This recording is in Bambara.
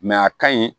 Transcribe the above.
a ka ɲi